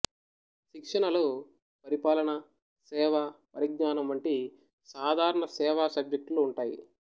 శిక్షణలో పరిపాలన సేవా పరిజ్ఞానం వంటి సాధారణ సేవా సబ్జెక్టులు ఉంటాయి